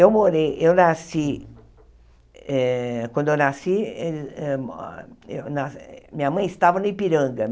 Eu morei, eu nasci... Eh quando eu nasci, eh eh ah eh minha mãe estava no Ipiranga.